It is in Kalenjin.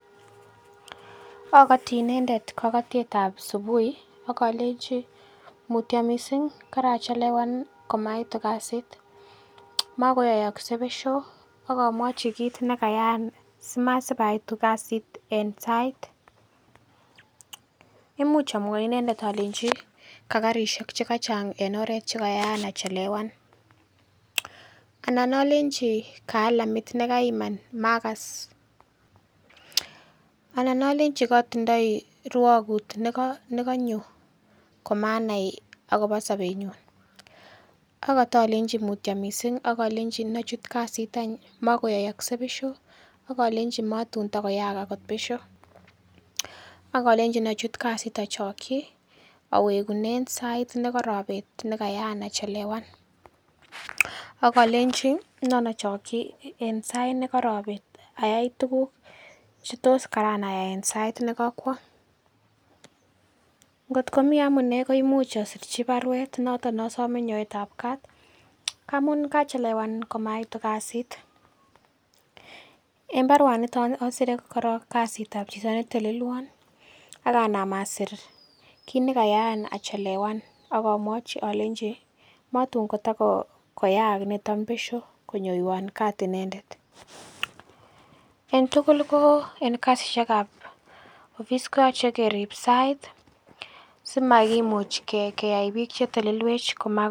Agoti inendet kogotiet ba subui ak olenchi mutyo mising karachelewan komaitu kasit, makoyookse besho. Ak amwochi kiit ne kayaan simasib aitu kasit en sait. Imuch amwachi inendetolenji ka karishek che kachang en oret che kayaan achelewan. Anan olenchi ka alamit nekaiman maakas. Anan olenchi kotindoi rwogut nekonyo komanai agobo sobenyun ak otolenji mutyo mising ak olenji inochut kasit any makoyookse besho. Ak olenchi matun kotakoyaak agot besho. Ak alenchi inachut kasit ochoki awegunen sait ne korobet ne kayaan achelewan. Ak alenchi nan ochokyi en sait ne korobet ayai tuguk che tos karan ayai en sait ne kokwo. Ngotko mi amune komuch asirchi barwet noton ne osome noet ab kaat ngamun kachelewan komaitu kasit en barwanito asire korong kasit ab chito ne telelwon ak anam asir kit nekayaan achelewan ak amwochi alenji motun kotakoyaak niton besyo konyoiwon kaat inendet. En tugul ko en kasishek ab office ko yoche kerib sait simakimuch keyai biik chetelelwech.